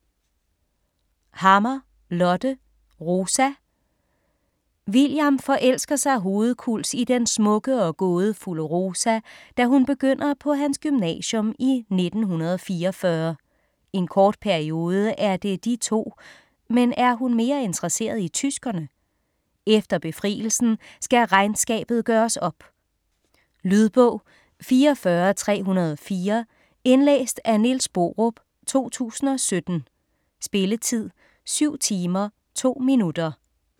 Hammer, Lotte: Rosa William forelsker sig hovedkuls i den smukke og gådefulde Rosa, da hun begynder på hans gymnasium i 1944. En kort periode er det de to, men er hun mere interesseret i tyskerne? Efter befrielsen skal regnskabet gøres op. Lydbog 44304 Indlæst af Niels Borup, 2017. Spilletid: 7 timer, 2 minutter.